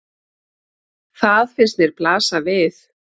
Það finnst mér blasa við.